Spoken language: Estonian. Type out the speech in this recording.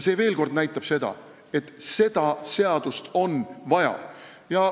See näitab veel kord seda, et seda seadust on vaja.